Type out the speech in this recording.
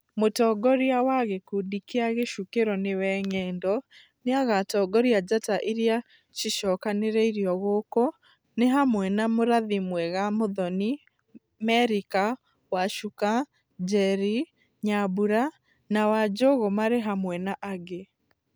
Mũtongoria wa gĩkundi kĩa Gĩcukĩro nĩwe Ng'endo, nĩagatongoria njata iria cicokanĩrĩirio gũkũ nĩ hamwe na mũrathi mwega Mũthoni, Merica, Wacuka, Njeri, Nyambura na wanjũgu marĩ hamwe na angĩ.